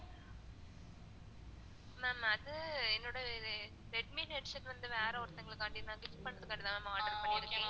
ma'am அது என்னோட redmi headset வந்து வேற ஒருதங்களுகாண்டி நான் gift பண்றதுக்காகதான் ma'am order பண்ணிருக்கன்